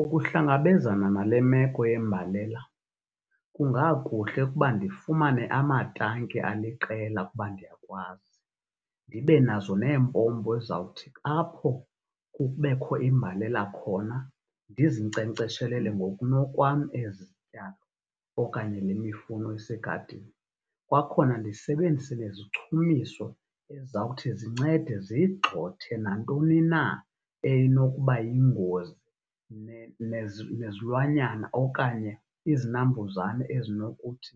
Ukuhlangabenzana nale meko yembalela kungakuhle ukuba ndifumane amatanki aliqela ukuba ndiyakwazi. Ndibe nazo nempompo ezawuthi apho kubekho imbalela khona ndizinkcenkceshelele ngokunokwam ezi zityalo okanye le mifuno isegadini. Kwakhona ndisebenzise nezichumiso ezawuthi zincede zigxothe nantoni na enokuba yingozi nezilwanyana okanye izinambuzane ezinokuthi